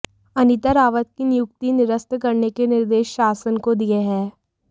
अनीता रावत की नियुक्ति निरस्त करने के निर्देश शासन को दिए हैं